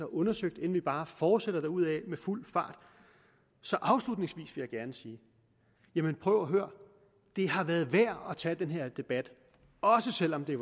undersøgt inden vi bare fortsætter derudaf i fuld fart så afslutningsvis vil jeg gerne sige jamen prøv at høre det har været værd at tage den her debat også selv om det